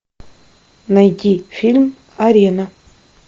найди фильм арена